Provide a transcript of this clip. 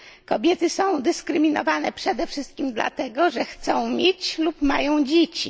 Kobiety są dyskryminowane przede wszystkim dlatego, że chcą mieć lub mają dzieci.